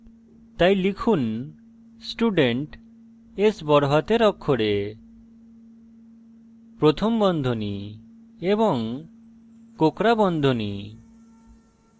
তাই লিখুন student s বড়হাতের অক্ষরে প্রথম বন্ধনী এবং কোঁকড়া বন্ধনী